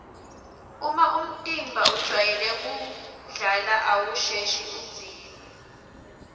uma umtimba ujwayele kudlala awusheshi udzinwe